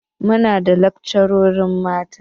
Muna da lakcarori mata.